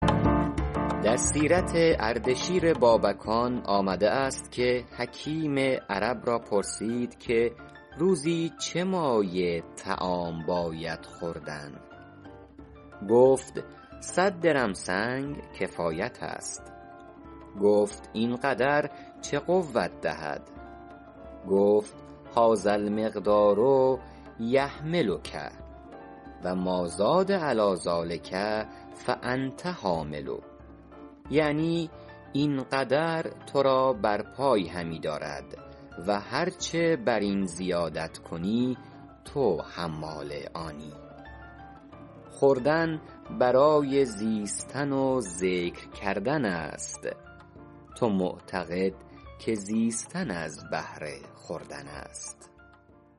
در سیرت اردشیر بابکان آمده است که حکیم عرب را پرسید که روزی چه مایه طعام باید خوردن گفت صد درم سنگ کفایت است گفت این قدر چه قوت دهد گفت هٰذا المقدار یحملک و مٰازاد علیٰ ذٰلک فانت حامله یعنی این قدر تو را بر پای همی دارد و هر چه بر این زیادت کنی تو حمال آنی خوردن برای زیستن و ذکر کردن است تو معتقد که زیستن از بهر خوردن است